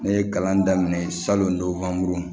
Ne ye kalan daminɛ salon